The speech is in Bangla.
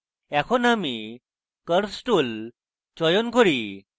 এখন আমি curves tool চয়ন করি